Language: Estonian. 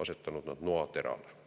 asetanud noaterale.